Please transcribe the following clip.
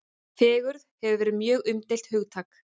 Fegurð hefur verið mjög umdeilt hugtak.